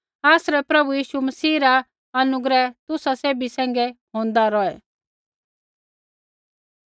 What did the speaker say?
आसरै प्रभु यीशु मसीह रा अनुग्रह तुसा सैभी सैंघै होंदा रौहै